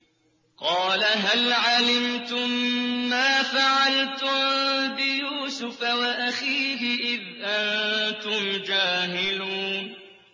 قَالَ هَلْ عَلِمْتُم مَّا فَعَلْتُم بِيُوسُفَ وَأَخِيهِ إِذْ أَنتُمْ جَاهِلُونَ